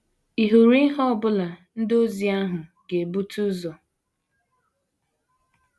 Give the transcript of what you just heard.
Ị̀ hụrụ ihe ọ bụla ndị ozi ahụ ga - ebute ụzọ?